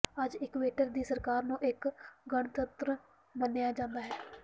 ਅੱਜ ਇਕੂਏਟਰ ਦੀ ਸਰਕਾਰ ਨੂੰ ਇੱਕ ਗਣਤੰਤਰ ਮੰਨਿਆ ਜਾਂਦਾ ਹੈ